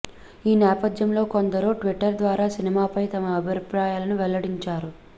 ఈ నేపథ్యంలో కొందరు ట్విట్టర్ ద్వారా సినిమాపై తమ అభిప్రాయాలను వెల్లడించారు